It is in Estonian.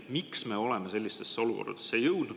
Miks me oleme sellisesse olukorda jõudnud?